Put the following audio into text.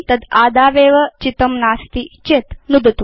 तद् आदावेव चितं नास्ति चेत् नुदतु